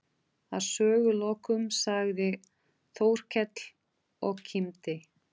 Að sögulokum sagði Þórkell og kímdi